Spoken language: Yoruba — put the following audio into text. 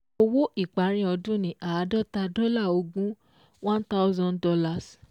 Owó ìparí ọdún ni Àádọ́ta dọ́là ogún fifty thousand dollars twenty one